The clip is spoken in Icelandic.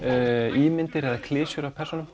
ímyndir eða klisjur af persónunum